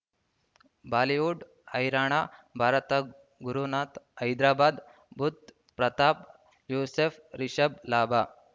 Bollywood ಹೈರಾಣ ಭಾರತ ಗುರುನಾಥ ಹೈದರಾಬಾದ್ ಬುಧ್ ಪ್ರತಾಪ್ ಯೂಸುಫ್ ರಿಷಬ್ ಲಾಭ